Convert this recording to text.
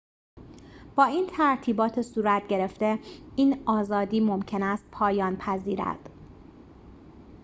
با این ترتیبات صورت‌گرفته این آزادی ممکن است پایان پذیرد